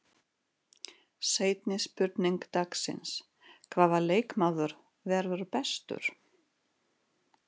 Seinni spurning dagsins: Hvaða leikmaður verður bestur?